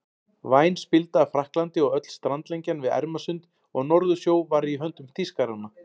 Væn spilda af Frakklandi og öll strandlengjan við Ermarsund og Norðursjó var í höndum Þýskaranna.